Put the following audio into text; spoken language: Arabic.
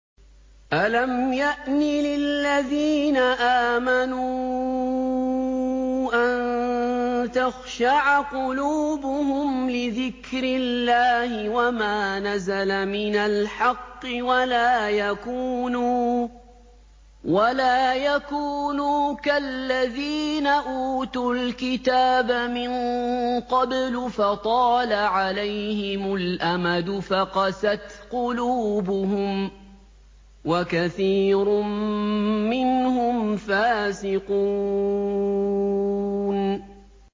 ۞ أَلَمْ يَأْنِ لِلَّذِينَ آمَنُوا أَن تَخْشَعَ قُلُوبُهُمْ لِذِكْرِ اللَّهِ وَمَا نَزَلَ مِنَ الْحَقِّ وَلَا يَكُونُوا كَالَّذِينَ أُوتُوا الْكِتَابَ مِن قَبْلُ فَطَالَ عَلَيْهِمُ الْأَمَدُ فَقَسَتْ قُلُوبُهُمْ ۖ وَكَثِيرٌ مِّنْهُمْ فَاسِقُونَ